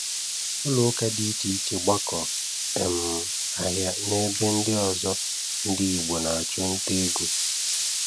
ụlọụka dị iche iche, ọgbakọ, um ahịa na ebe ndị ọzọ ndị Igbo na-achụ nta ego